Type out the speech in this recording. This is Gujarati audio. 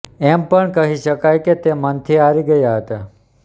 એમ પણ કહી શકાય કે તે મનથી હારી ગયા હતા